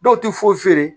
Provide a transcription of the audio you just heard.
Dɔw tɛ foyi feere